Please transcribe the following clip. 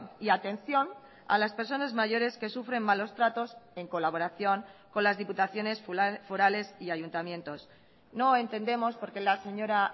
y atención a las personas mayores que sufren malos tratos en colaboración con las diputaciones forales y ayuntamientos no entendemos por qué la señora